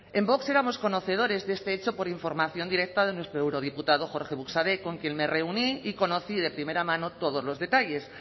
en vox éramos conocedores de este hecho por información directa de nuestro eurodiputado jorge buxadé con quien me reuní y conocí de primera mano todos los detalles